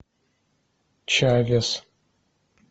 чавес